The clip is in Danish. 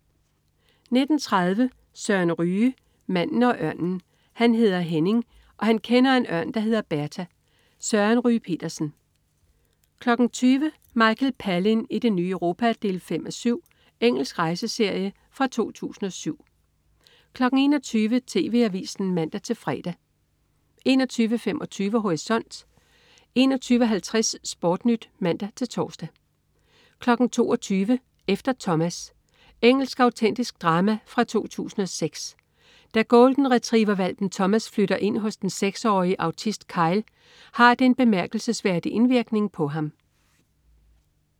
19.30 Søren Ryge. Manden og ørnen. Han hedder Henning, og han kender en ørn, der hedder Berta. Søren Ryge Petersen 20.00 Michael Palin i det nye Europa 5:7. Engelsk rejseserie fra 2007 21.00 TV Avisen (man-fre) 21.25 Horisont 21.50 SportNyt (man-tors) 22.00 Efter Thomas. Engelsk autentisk drama fra 2006. Da golden-retriever-hvalpen Thomas flytter ind hos den 6-årige autist Kyle, har det en bemærkelsesværdig indvirkning på ham